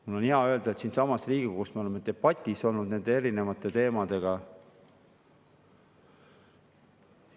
Mul on hea meel öelda, et siinsamas Riigikogus me oleme debatti pidanud nende erinevate teemade üle.